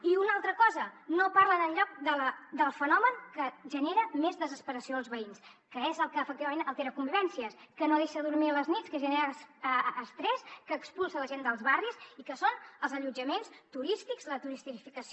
i una altra cosa no parlen enlloc del fenomen que genera més desesperació als veïns que és el que efectivament altera convivències que no deixa dormir a les nits que genera estrès que expulsa la gent dels barris i que són els allotjaments turístics la turistificació